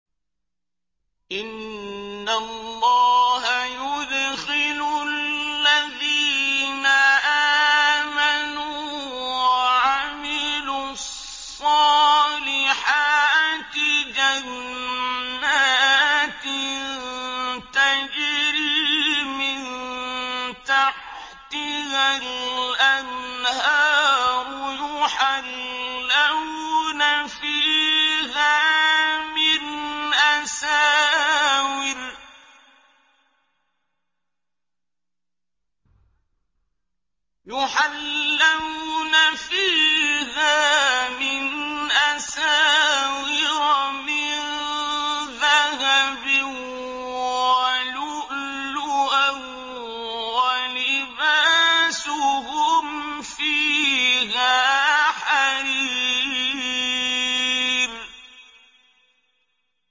إِنَّ اللَّهَ يُدْخِلُ الَّذِينَ آمَنُوا وَعَمِلُوا الصَّالِحَاتِ جَنَّاتٍ تَجْرِي مِن تَحْتِهَا الْأَنْهَارُ يُحَلَّوْنَ فِيهَا مِنْ أَسَاوِرَ مِن ذَهَبٍ وَلُؤْلُؤًا ۖ وَلِبَاسُهُمْ فِيهَا حَرِيرٌ